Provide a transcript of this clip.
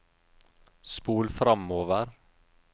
spol framover